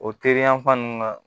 O teri yan fan nunnu na